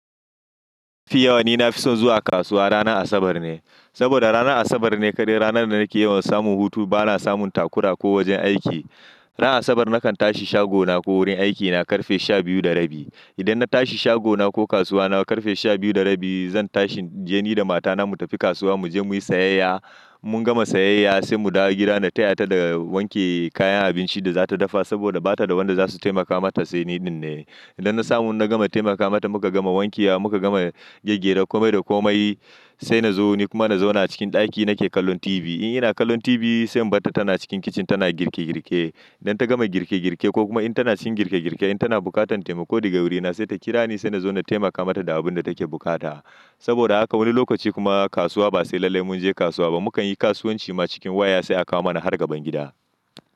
Mafi yawa ni na fi son zuwa kasuwa ranar Asabar ne. Saboda ranar Asabar ne kadai ranar da nake yawan samun hutu ba na samun takura ko wajen aiki. Ranar Asabar nakan tashi shagona ko wurin aikina karfe sha biyu da rabi. Idan na tashi shagona ko kasuwa na karfe sha biyu da rabi zan tashi je ni da mata na mu tafi kasuwa mu je muyi sayayya. Mun gama sayayya sai mu dawo gida na taya ta da wanke kayan abinci da za ta dafa saboda ba ta da wanda zasu taimaka mata sai ni dinne. Idan na samu na gama taimaka mata muka gama wankewa muka gama gyggyara komai da komai sai na zo ni kuma na zauna cikin ɗaki nake kallon tibi. Ni ina kallon tibi sai in barta tana cikin kicin tana girke girke. Idan ta gama girke girke ko kuma in tana cikin girke girke in tana bukatan taimako daga wurina sai ta kira ni sai na zo na taimaka mata da abun da take bukata. Saboda haka wani lokaci kuma kasuwa ba sai lallai mun je kasuwa ba. Mukanyi kasuwanci ma cikin waya sai aka mana har gaban gida.